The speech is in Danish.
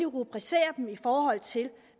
rubricere dem i forhold til